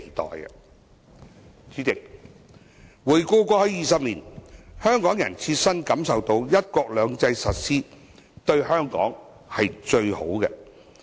代理主席，回顧過去20年，香港人切身感受到"一國兩制"的實施對香港是最有利的。